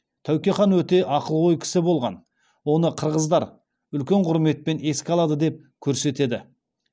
тәуке хан өте ақылгөй кісі болған оны қырғыздар үлкен құрметпен еске алады деп көрсетеді